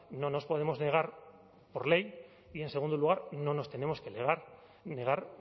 no nos podemos negar por ley y en segundo lugar no nos tenemos que negar